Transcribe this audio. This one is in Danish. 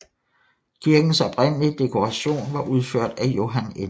Kirkens oprindelige dekoration var udført af Johan N